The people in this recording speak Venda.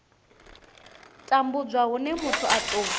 tambudzwa hune muthu a tou